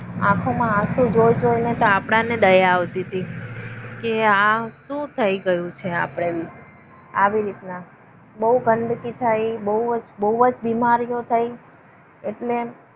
આંખોમાં આખું જોઈને આપણા અને દયા આવતી હતી. કે આ શું થઈ ગયું છે? આપણે આવી રીતના બહુ ગંદકી થઈ બહુ બીમારીઓ થઈ એટલે.